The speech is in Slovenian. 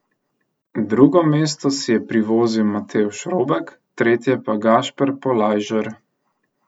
Drugo mesto si je privozil Matevž Robek, tretje pa Gašper Polajžer.